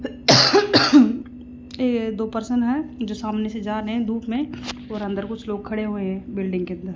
ये दो पर्सन है जो सामने से जा रहे धूप मे और अंदर कुछ लोग खड़े हुए है बिल्डिंग के अंदर --